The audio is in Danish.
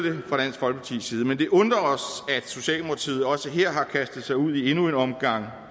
folkepartis side men det undrer os at socialdemokratiet også her har kastet sig ud i endnu en omgang